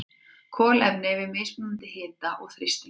Kolefni við mismunandi hita og þrýsting.